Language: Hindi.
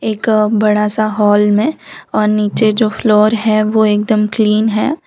एक अ बड़ा सा हॉल में और नीचे जो फ्लोर है वो एकदम क्लीन है।